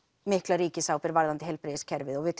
mikla ríkisábyrgð varðandi heilbrigðiskerfið og við